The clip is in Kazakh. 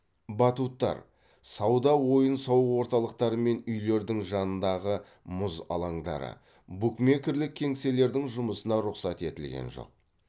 батуттар сауда ойын сауық орталықтары мен үйлердің жанындағы мұз алаңдары букмекерлік кеңселердің жұмысына рұқсат етілген жоқ